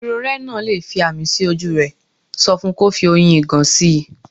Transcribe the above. Irorẹ́ náà le fi ààmì sí ojú rẹ̀, sọ fun kò fi oyin ìgàn sí.